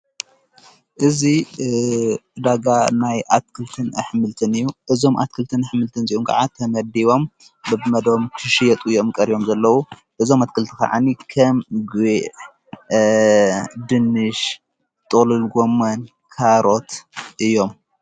እዙ ዳጋ ናይ ኣትክልትን ኣኅምልትን እ። እዞም ኣትክልትን ኣኅምልትን ዙኡምከዓ ተመዲቦም ብብመዶም ክሽየጡ እዮም። ቀርዮም ዘለዉ እዞም ኣትክልቲ ኸዓኒ ከም ግዕ፣ ድንሽ ጠልልጎመል ካሮት እዮም።